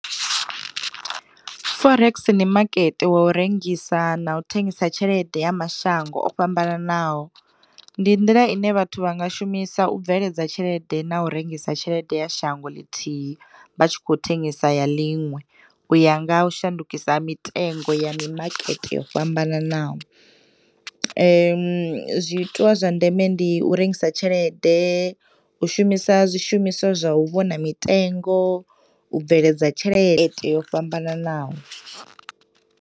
Forex ndi makete wa u rengisa na u thengisa tshelede ya mashango o fhambananaho. Ndi nḓila ine vhathu vhanga shumisa u bveledza tshelede na u rengisa tshelede ya shango ḽithihi vha tshi khou thengisa ya ḽiṅwe uya ngaha u shandukisa ha mitengo ya mimakete yo fhambananaho. Zwiitwa zwa ndeme ndi u rengisa tshelede, u shumisa zwi shumiswa zwa u vhona mitengo, u bveledza tshelede yo fhambananaho.